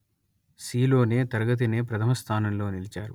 సీలోనే తరగతినే ప్రథమ స్థానంలో నిలిచారు